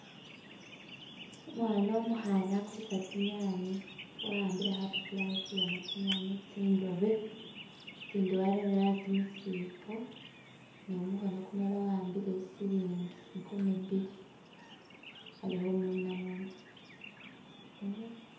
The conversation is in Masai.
Umwana umukhana akulisa tsinyanye wa'ambile khapapula khetsulemo tsinyanye tsindobe, itsindi warere asi mu siipo ne mumukhono kumulala wa'ambile silingi nkumi biili ali khumunamuna.